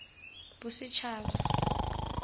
bosetšhaba